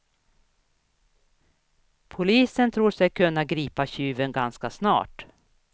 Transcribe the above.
Polisen tror sig kunna gripa tjuven ganska snart.